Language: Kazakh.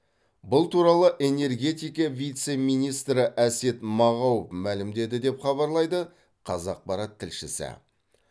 бұл туралы энергетика вице министрі әсет мағау мәлімдеді деп хабарлайды қазақпарат тілшісі